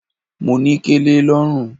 Mo ní kẹlẹ lọ́rùn.